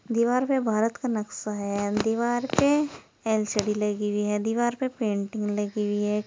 दीवाल पे भारत का नक्शा है। अ दीवार पे एल_सी_डी लगी हुई है। दीवार पे पेंटिंग लगी हुई है।